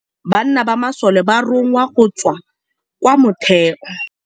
Ka nakô ya dintwa banna ba masole ba rongwa go tswa kwa mothêô.